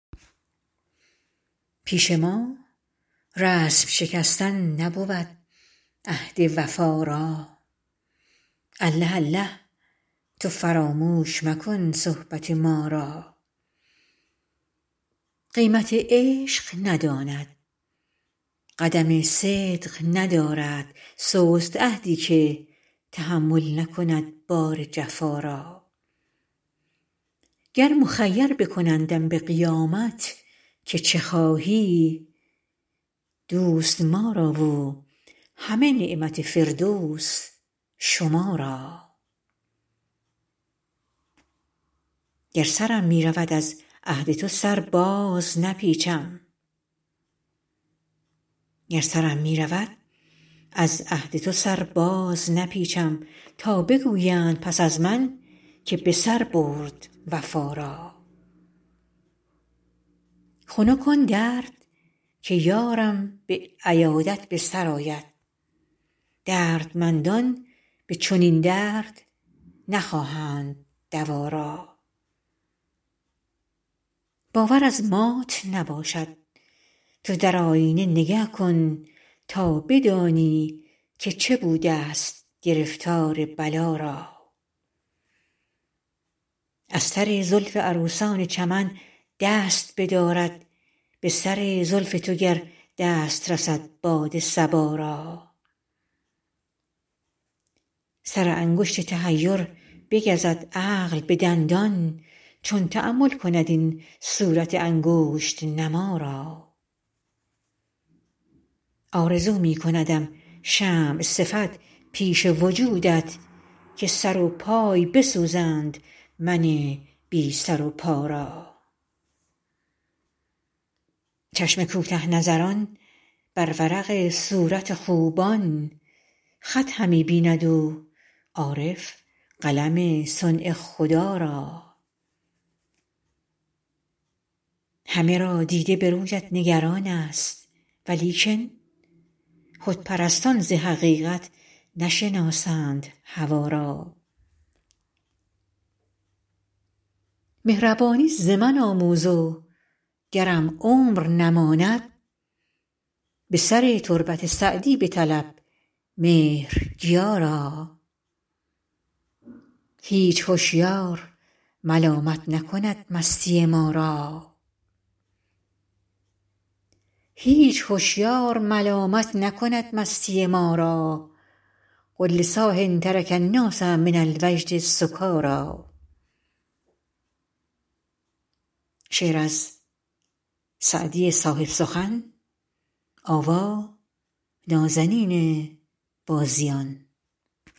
پیش ما رسم شکستن نبود عهد وفا را الله الله تو فراموش مکن صحبت ما را قیمت عشق نداند قدم صدق ندارد سست عهدی که تحمل نکند بار جفا را گر مخیر بکنندم به قیامت که چه خواهی دوست ما را و همه نعمت فردوس شما را گر سرم می رود از عهد تو سر بازنپیچم تا بگویند پس از من که به سر برد وفا را خنک آن درد که یارم به عیادت به سر آید دردمندان به چنین درد نخواهند دوا را باور از مات نباشد تو در آیینه نگه کن تا بدانی که چه بودست گرفتار بلا را از سر زلف عروسان چمن دست بدارد به سر زلف تو گر دست رسد باد صبا را سر انگشت تحیر بگزد عقل به دندان چون تأمل کند این صورت انگشت نما را آرزو می کندم شمع صفت پیش وجودت که سراپای بسوزند من بی سر و پا را چشم کوته نظران بر ورق صورت خوبان خط همی بیند و عارف قلم صنع خدا را همه را دیده به رویت نگران ست ولیکن خودپرستان ز حقیقت نشناسند هوا را مهربانی ز من آموز و گرم عمر نماند به سر تربت سعدی بطلب مهرگیا را هیچ هشیار ملامت نکند مستی ما را قل لصاح ترک الناس من الوجد سکاریٰ